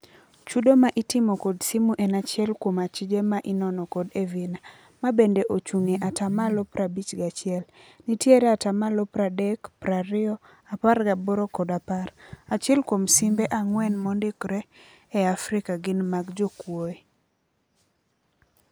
Chudo ma itimo kod simu en achiel kuom achije ma inono kod Evina, mabende ochung' e atamalo prabich gachiel. Nitiere atamalo pardek, prario, apar gaboro kod apar. Achiel kuom simbe ang'wen mondikre e Afrika gin mag jokwuoe.